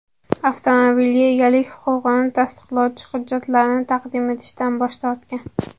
Avtomobilga egalik huquqini tasdiqlovchi hujjatlarni taqdim etishdan bosh tortgan”.